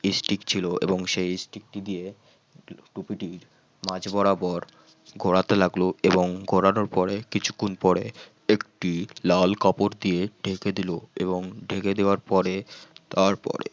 stick ছিল এবং stick টি দিয়ে টুপিটির মাজ বরাবর ঘোরাতে লাগলো এবং ঘোরানোর পরে কিছুক্ষণ পরে একটি লাল কাপড় দিয়ে ঢেকে দিল এবং ঢেকে দেওয়ার পরে তারপরে